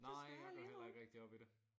Nej jeg går heller ikke rigtig op i det